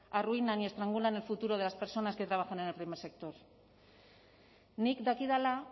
arruinan y estrangula en el futuro de las personas que trabajan en el primer sector nik dakidala